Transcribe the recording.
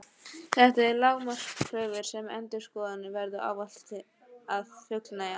Þetta eru lágmarkskröfur sem endurskoðendur verða ávallt að fullnægja.